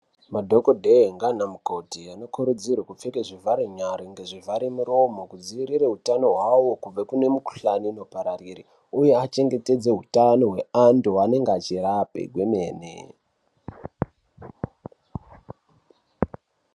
Madhokodheya ngaanamukoti anokurudzirwe kupfeke zvivhare nyara ngezvivhare muromo kudzivirire utano hwavo kubve kune mikhuhlani inopararire uye achengetedze utano hwevantu vaanonge achirape kwemene.